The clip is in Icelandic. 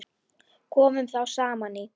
Komu þá saman í